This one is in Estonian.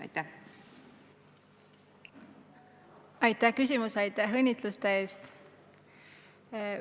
Aitäh küsimuse eest ja aitäh õnnitluste eest!